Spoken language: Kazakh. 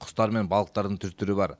құстар мен балықтардың түр түрі бар